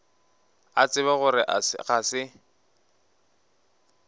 a tseba gore ga se